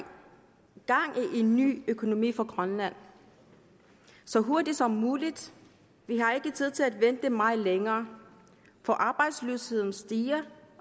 en ny økonomi i grønland så hurtigt som muligt vi har ikke tid til at vente meget længere for arbejdsløsheden stiger